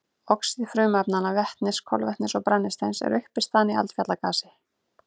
Oxíð frumefnanna vetnis, kolefnis og brennisteins eru uppistaðan í eldfjallagasi.